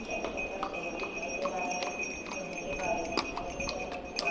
चद्दर का शेड दिखा दे रहा हे लोहे के पाइप दिखाई दे रहे हैं ऊपर।